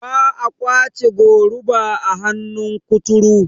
ba a kwace goruba a hannun kuturu